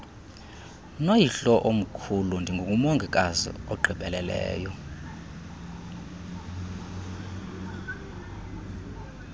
noyihlomkhulu ndingumongikazi ogqibeleleyo